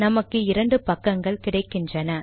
நமக்கு இரண்டு பக்கங்கள் கிடைக்கின்றன